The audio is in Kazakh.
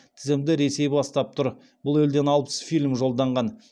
тізімді ресей бастап тұр бұл елден алпыс фильм жолданған